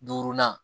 Duurunan